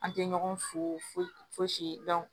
An tɛ ɲɔgɔn fo fosi